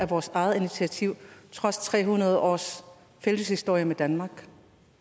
vores eget initiativ trods tre hundrede års fælles historie med danmark